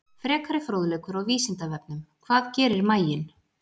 Frekari fróðleikur á Vísindavefnum: Hvað gerir maginn?